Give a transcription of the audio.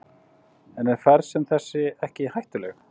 En er ferð sem þessi ekki hættuleg?